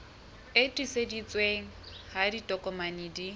e tiiseditsweng ha ditokomane di